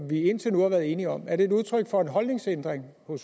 vi indtil nu været enige om er det udtryk for en holdningsændring